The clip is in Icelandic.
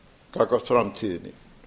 gagnvart framtíðinni